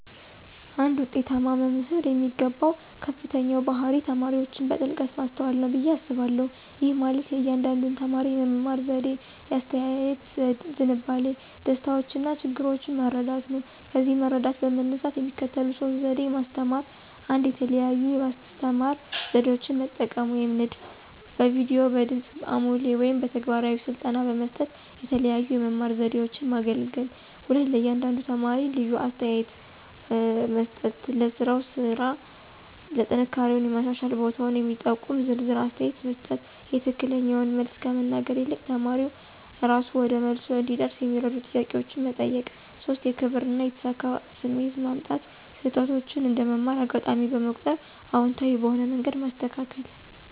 አንድ ውጤታማ መምህር የሚገባው ከፍተኛው ባህሪ ተማሪዎችን በጥልቀት ማስተዋል ነው ብዬ አስባለሁ። ይህ ማለት የእያንዳንዱን ተማሪ የመማር ዘዴ፣ የአስተያየት ዝንባሌ፣ ደስታዎችና ችግሮች መረዳት ነው። ከዚህ መረዳት በመነሳት የሚከተሉት ሶስት ዘዴ ማስተማራ 1, የተለያዩ የአስተማራ ዘዴዎችን መጠቀም (ንድፍ)፣ በቪዲዮ፣ በድምጽ አሞሌ ወይም በተግባራዊ ስልጠና በመስጠት የተለያዩ የመማር ዘዴዎችን ማገለገል። 2, ለእያንዳንዱ ተማሪ ልዩ አስተያየት (ኮንስትራክቲቭ ፊድባክ) መስጠት · ለሥራው ስራ ጥንካሬውና የማሻሻል ቦታውን የሚጠቁም ዝርዝር አስተያየት መስጠት።· የትክክለኛውን መልስ ከመናገር ይልቅ ተማሪው እራሱ ወደ መልሱ እንዲደርስ የሚረዱ ጥያቄዎችን መጠየቅ። 3, የክብር እና የተሳካ ስሜት ማምጣት· ስህተቶችን እንደ መማር አጋጣሚ በመቁጠር አዎንታዊ በሆነ መንገድ ማስተካከል።